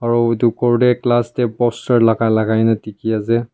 aro edu ghor tae glass tae poster lakai lakai na dikhiase.